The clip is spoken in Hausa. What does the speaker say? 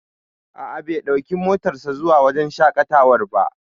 A'a, bai ɗauki motar sa zuwa wajen shaƙatawar ba